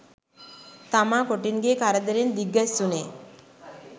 තමා කොටින්ගෙ කරදරෙත් දිග්ගැස්සුනේ